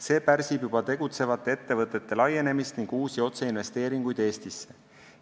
See pärsib juba tegutsevate ettevõtete laienemist ja uusi otseinvesteeringuid Eestisse.